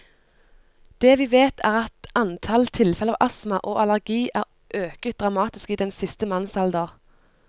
Det vi vet, er at antall tilfeller av astma og allergi er øket dramatisk i den siste mannsalder.